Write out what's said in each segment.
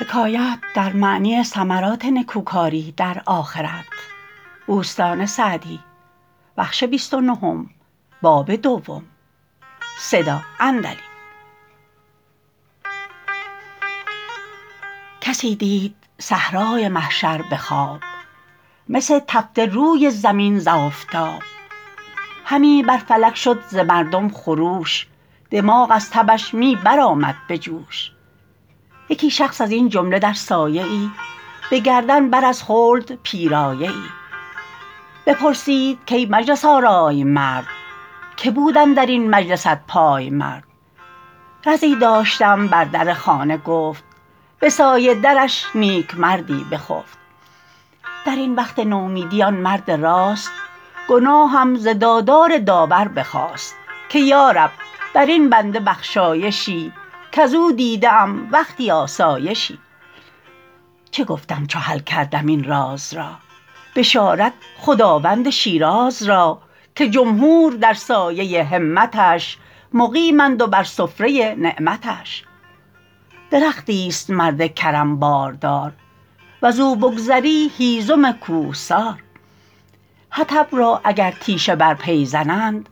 کسی دید صحرای محشر به خواب مس تفته روی زمین ز آفتاب همی بر فلک شد ز مردم خروش دماغ از تبش می برآمد به جوش یکی شخص از این جمله در سایه ای به گردن بر از خلد پیرایه ای بپرسید کای مجلس آرای مرد که بود اندر این مجلست پایمرد رزی داشتم بر در خانه گفت به سایه درش نیکمردی بخفت در این وقت نومیدی آن مرد راست گناهم ز دادار داور بخواست که یارب بر این بنده بخشایشی کز او دیده ام وقتی آسایشی چه گفتم چو حل کردم این راز را بشارت خداوند شیراز را که جمهور در سایه همتش مقیمند و بر سفره نعمتش درختی است مرد کرم باردار وز او بگذری هیزم کوهسار حطب را اگر تیشه بر پی زنند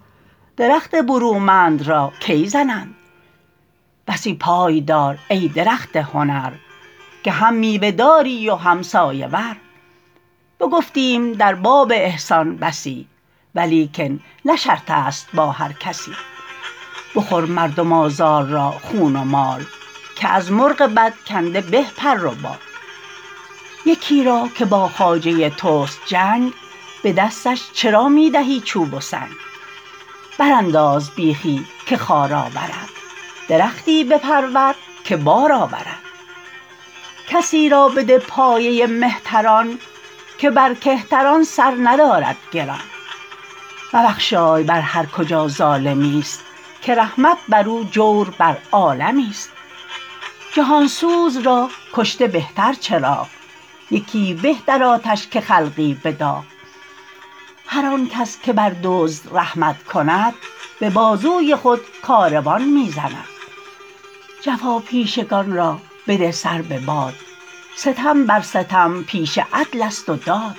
درخت برومند را کی زنند بسی پای دار ای درخت هنر که هم میوه داری و هم سایه ور بگفتیم در باب احسان بسی ولیکن نه شرط است با هر کسی بخور مردم آزار را خون و مال که از مرغ بد کنده به پر و بال یکی را که با خواجه توست جنگ به دستش چرا می دهی چوب و سنگ بر انداز بیخی که خار آورد درختی بپرور که بار آورد کسی را بده پایه مهتران که بر کهتران سر ندارد گران مبخشای بر هر کجا ظالمی است که رحمت بر او جور بر عالمی است جهان سوز را کشته بهتر چراغ یکی به در آتش که خلقی به داغ هر آن کس که بر دزد رحمت کند به بازوی خود کاروان می زند جفاپیشگان را بده سر بباد ستم بر ستم پیشه عدل است و داد